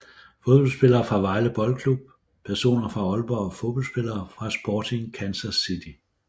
Fodboldspillere fra Vejle Boldklub Personer fra Aalborg Fodboldspillere fra Sporting Kansas City